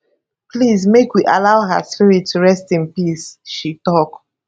please make we allow her spirit to rest in peace she tok